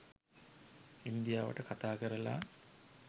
ඉන්දියාවට කතාකරලා